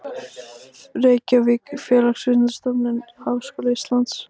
Reykjavík, Félagsvísindastofnun Háskóla Íslands.